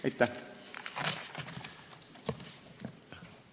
Aitäh!